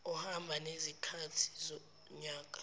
ohamba nezikhathi zonyaka